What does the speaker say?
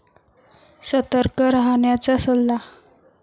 सतर्क राहण्याचा सल्ला